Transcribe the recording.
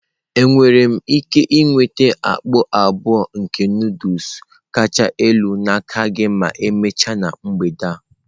Enwere m ike nweta mkpọ abụọ nke Nụdụls kacha elu n'aka gị ma emechaa na mgbede a?